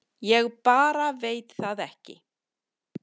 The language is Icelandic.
Ég bara veit það ekki